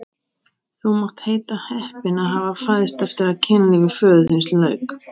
Þú mátt heita heppinn að hafa fæðst eftir að kynlífi föður þíns lauk!